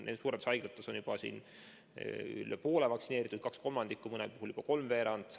Suuremates haiglates on juba üle poole personalist vaktsineeritud – kaks kolmandikku, mõnel pool juba kolmveerand.